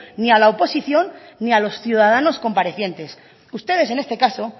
ni a la oposición ni a los ciudadanos comparecientes ustedes en este caso